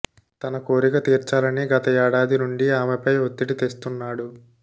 తన కోరిక తీర్చాలని గత ఏడాది నుండి ఆమెపై ఒత్తిడి తెస్తున్నాడు